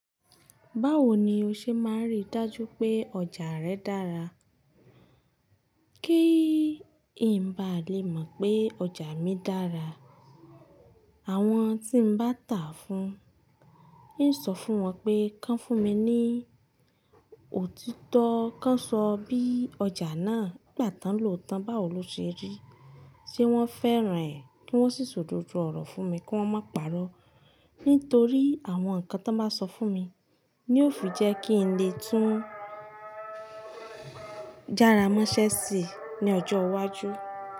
Báwo ni o ṣe máa n rí dájú pé ọjà rẹ dára? Kí ń bá lè mọ̀ pé ọjà mi dára, àwọn tí mo bá tà á fún, ń ó sọ fún wọn pé, kán fún mi ní òtítọ́, kán sọ bí ọjà náà nigba tán lòótan, báwo lọ ṣe rí, ṣe wọ́n fẹ́ràn ẹ̀? Kí wọ́n sì ṣòdodo ọ̀rọ̀ fún mi kí wọ́n má pàró. Nítorí àwọn nǹkan tí wọ́n bá sọ fún mi ni ó fi jẹ́ kí n lè tún jára mọ́ iṣẹ́ẹ̀sì ní ọjọ́ iwájú.